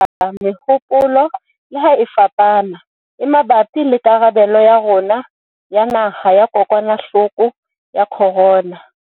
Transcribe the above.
Re tla tswella ho amohela mehopolo - leha e fapana - e mabapi le karabelo ya rona ya naha ho kokwanahloko ya corona.